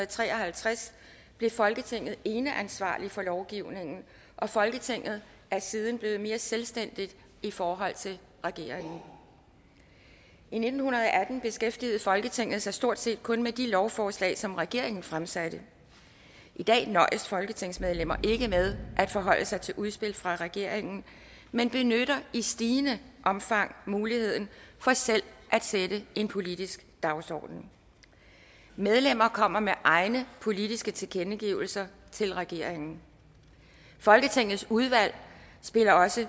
tre og halvtreds blev folketinget eneansvarligt for lovgivningen og folketinget er siden blevet mere selvstændigt i forhold til regeringen i nitten atten beskæftigede folketinget sig stort set kun med de lovforslag som regeringen fremsatte i dag nøjes folketingsmedlemmer ikke med at forholde sig til udspil fra regeringen men benytter i stigende omfang muligheden for selv at sætte en politisk dagsorden medlemmerne kommer med egne politiske tilkendegivelser til regeringen folketingets udvalg spiller også